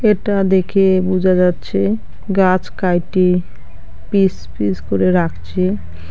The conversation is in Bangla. এটা দেখে বুঝা যাচ্ছে গাছ কাইটে পিস পিস করে রাখছে।